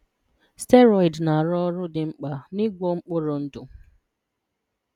Steroid na-arụ ọrụ dị mkpa n'ịgwọ mkpụrụ ndụ.